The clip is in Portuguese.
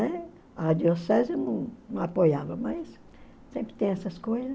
Né? A diocese não apoiava, mas sempre tem essas coisas.